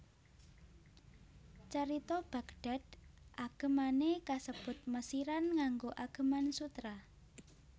Carita Baghdad agemane kasebut Mesiran nganggo ageman sutra